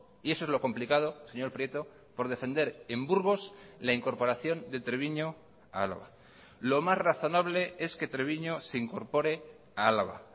y eso es lo complicado señor prieto por defender en burgos la incorporación de treviño a álava lo más razonable es que treviño se incorpore a álava